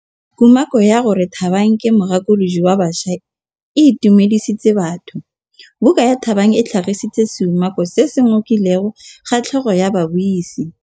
Kumakô ya gore Thabang ke mogakolodi wa baša e itumedisitse batho. Buka ya Thabang e tlhagitse seumakô se se ngokileng kgatlhegô ya babuisi.